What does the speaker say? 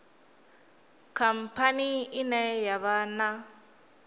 khamphani ine ya vha na